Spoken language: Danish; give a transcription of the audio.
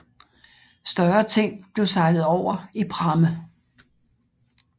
Større ting blev sejlet over i pramme